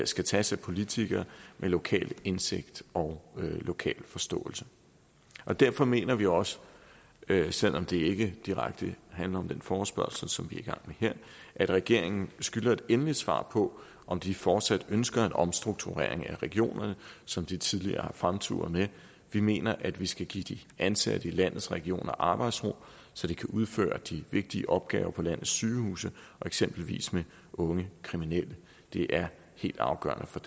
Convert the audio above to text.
skal tages af politikere med lokal indsigt og lokal forståelse derfor mener vi også selv om det ikke direkte handler om den forespørgsel som vi er i gang med her at regeringen skylder et endeligt svar på om de fortsat ønsker en omstrukturering af regionerne som de tidligere har fremturet med vi mener at vi skal give de ansatte i landets regioner arbejdsro så de kan udføre de vigtige opgaver på landets sygehuse eksempelvis med unge kriminelle det er helt afgørende for